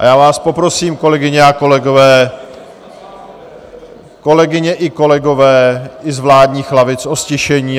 A já vás poprosím, kolegyně a kolegové, kolegyně i kolegové, i z vládních lavic o ztišení.